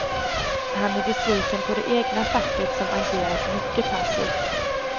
Han är besviken på det egna facket som agerat mycket passivt.